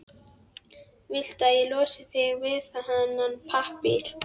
Viltu að ég losi þig við þennan pappír?